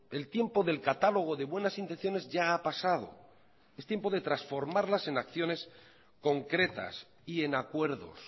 el tiempo del catálogo de buenas intenciones ya ha pasado estiempo de transformarlas en acciones concretas y en acuerdos